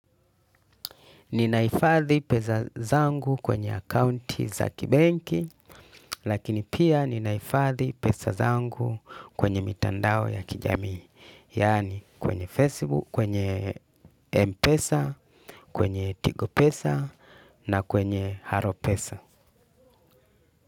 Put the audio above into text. Nina hifadhi pesa zangu kwenye akaunti za kibenki lakini pia nina hifadhi pesa zangu kwenye mitandao ya kijamii yani kwenye facebook kwenye mpesa kwenye tigo pesa na kwenye halo pesa.